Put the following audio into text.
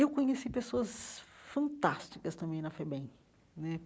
Eu conheci pessoas fantásticas também na FEBEM né.